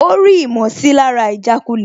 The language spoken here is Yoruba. Ó rí ìmọ̀sílára ìjàkulẹ̀